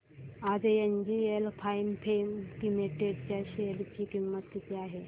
आज NGL Finechem limited च्या share ची किंमत किती आहे